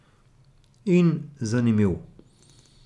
In zanimiv.